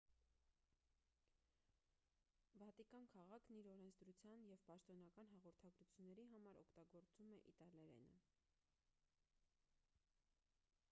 վատիկան քաղաքն իր օրենսդրության և պաշտոնական հաղորդագրությունների համար օգտագործում է իտալերենը